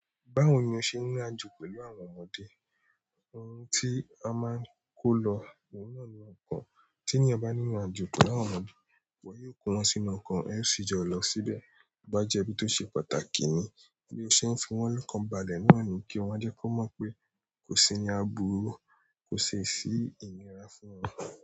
Báwo ni o ṣe ń ní ajo pẹ̀lú àwọn ọmọdé? Ohun tí a máa ń kó lọ, òun náà ni ọkàn. Tí yan bá ní irin àjò pẹ̀lú àwọn ọmọdé, wo yóò kó wọn sínú ọkọ̀, ẹ sì jọ lọ síbẹ̀. Bàjẹ́ bí ó ṣe pàtàkì ni bí o ṣe ń fi wọ́n lọ́kàn balẹ̀ náà ni kí wọ́n jẹ́ kó mọ̀ pé kò sí ni a bùrú, kò sì sí ìnira fún wọn.